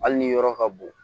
Hali ni yɔrɔ ka bon